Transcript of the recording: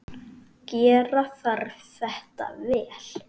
Gera þarf þetta vel.